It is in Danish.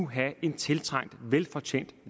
have en tiltrængt velfortjent